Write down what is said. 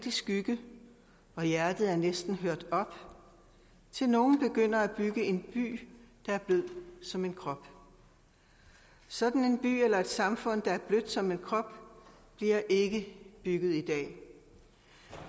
i skygge og hjertet er næsten hørt op til nogen begynder at bygge en by der er blød som en krop sådan en by eller et samfund der er blødt som en krop bliver ikke bygget i dag